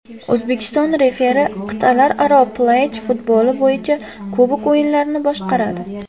O‘zbekistonlik referi Qit’alararo plyaj futboli bo‘yicha Kubok o‘yinlarini boshqaradi.